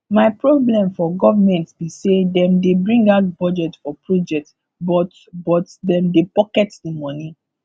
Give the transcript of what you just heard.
my problem for government be say dem dey bring out budget for project but but dem dey pocket the money